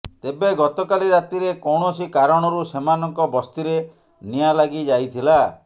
ତେବେ ଗତକାଲି ରାତିରେ କୌଣସି କାରଣରୁ ସେମାନଙ୍କ ବସ୍ତିରେ ନିଆଁ ଲାଗି ଯାଇଥିଲା